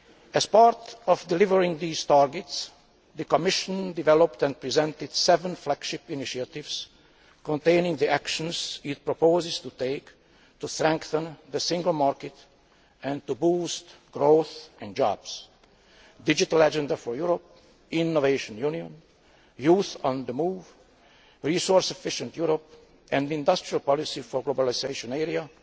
As part of meeting these targets, the Commission developed and presented seven flagship initiatives containing the actions it proposes to take to strengthen the single market and to boost growth and jobs the Digital Agenda for Europe, Innovation Union, Youth on the Move, Resource Efficient Europe, an Industrial Policy for the Globalisation Era,